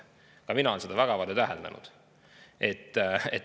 Ka mina olen seda väga palju täheldanud.